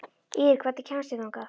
Ýrr, hvernig kemst ég þangað?